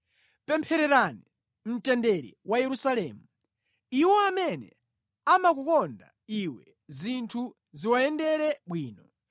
Pemphererani mtendere wa Yerusalemu: “Iwo amene amakukonda iwe zinthu ziwayendere bwino.